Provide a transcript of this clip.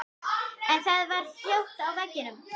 En það var hljótt á veginum.